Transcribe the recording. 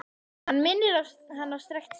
Hann minnir hana á strekkt svín.